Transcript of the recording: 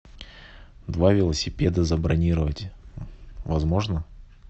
два велосипеда забронировать возможно